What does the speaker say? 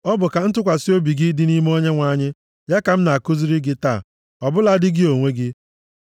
Ọ bụ ka ntụkwasị obi gị dị nʼime Onyenwe anyị, ya ka m na-akụziri gị taa, ọbụladị gị onwe gị.